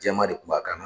Jɛman de kun b'a kan